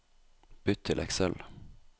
Bytt til Excel